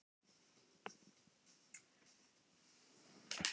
Hvers vegna eru til svona mörg ólík hundakyn?